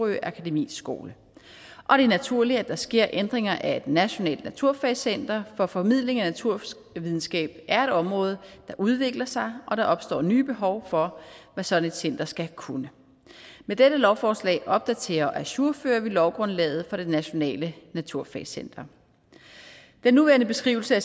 akademis skole og det er naturligt at der sker ændringer af et nationalt naturfagscenter for formidling af naturvidenskab er et område der udvikler sig og der opstår nye behov for hvad sådan et center skal kunne med dette lovforslag opdaterer og ajourfører vi lovgrundlaget for det nationale naturfagscenter den nuværende beskrivelse af